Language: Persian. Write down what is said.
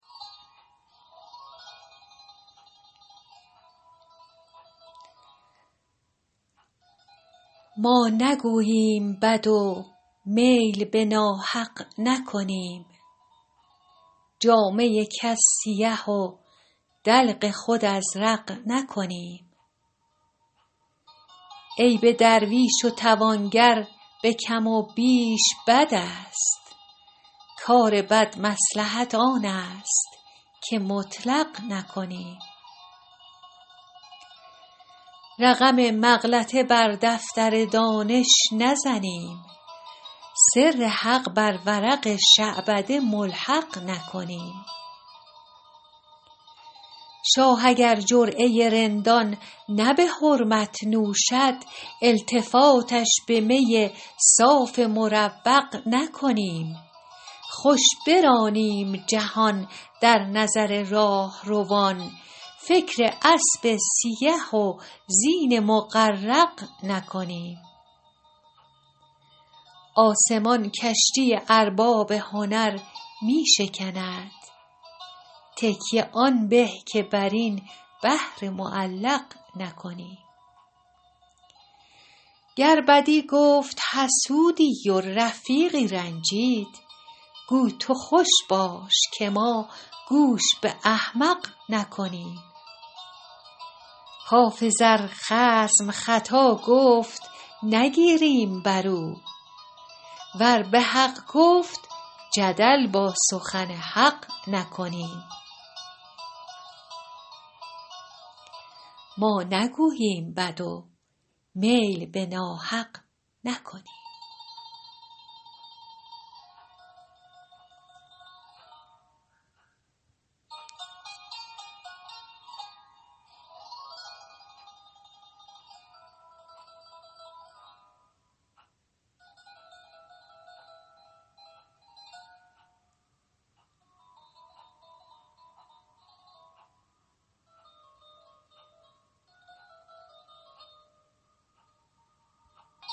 ما نگوییم بد و میل به ناحق نکنیم جامه کس سیه و دلق خود ازرق نکنیم عیب درویش و توانگر به کم و بیش بد است کار بد مصلحت آن است که مطلق نکنیم رقم مغلطه بر دفتر دانش نزنیم سر حق بر ورق شعبده ملحق نکنیم شاه اگر جرعه رندان نه به حرمت نوشد التفاتش به می صاف مروق نکنیم خوش برانیم جهان در نظر راهروان فکر اسب سیه و زین مغرق نکنیم آسمان کشتی ارباب هنر می شکند تکیه آن به که بر این بحر معلق نکنیم گر بدی گفت حسودی و رفیقی رنجید گو تو خوش باش که ما گوش به احمق نکنیم حافظ ار خصم خطا گفت نگیریم بر او ور به حق گفت جدل با سخن حق نکنیم